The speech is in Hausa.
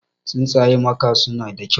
Tsuntsayen maka suna da kyau.